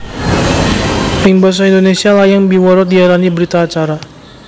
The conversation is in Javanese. Ing basa Indonésia layang biwara diarani berita acara